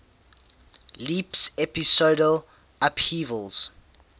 leaps episodal upheavals